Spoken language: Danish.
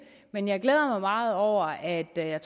men jeg glæder mig meget over at jeg